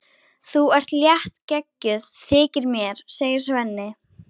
Þú ert léttgeggjuð, þykir mér, segir Svenni.